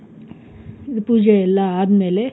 ಪೂಜೆ ಎಲ್ಲಾ ಆದ್ಮೇಲೆ,